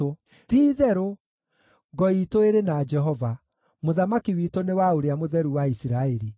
Ti-itherũ, ngo iitũ ĩrĩ na Jehova, mũthamaki witũ nĩ wa Ũrĩa-Mũtheru-wa-Isiraeli.